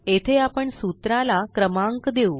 येथे आपण सूत्रा ला क्रमांक देऊ